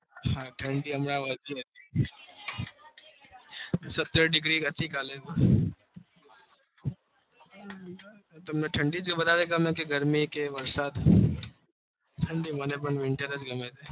હા હમણાં સત્યાવી ડીગ્રી હતી વધારે